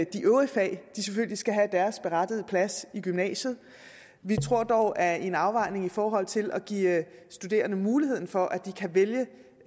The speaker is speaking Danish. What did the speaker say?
de øvrige fag selvfølgelig skal have deres berettigede plads i gymnasiet vi tror dog at i en afvejning i forhold til at give studerende muligheden for at de kan vælge